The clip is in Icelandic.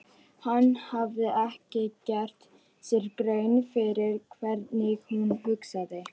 Hann hafði ekki gert sér grein fyrir hvernig hún hugsaði.